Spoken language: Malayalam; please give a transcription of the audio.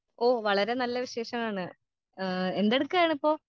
ഓ വളരേ നല്ല വിശേഷമാണ് ആ എന്തെട്ക്കാണിപ്പോ.